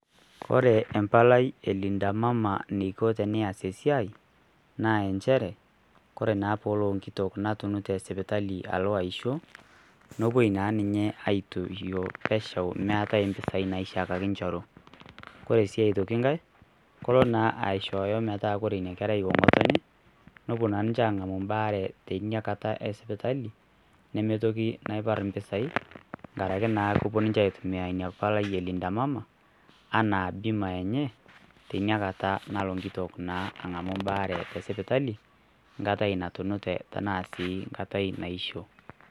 Ore empalai e linda mama eniko tenees esiai naa kore naa tenelo enkitok natunute sipitali alo aisho nelo nepuoi naa ninye aitoisho pesho meeta impisai naishorua, ore sii aitoki enkae kelo naa asihooyo metaa ore enkerai ong'otonye nepuo naa ninche ang'amu embaare tina sipitali nemipotunyieki impisai tenkaraki naa kepuo ninche aipotunyie ina palai e linda mama enaa bima eneye tinakata nalo naa enkitok ang'amu embaare tesipitali enkata natamoyia arashu enkata natoishe.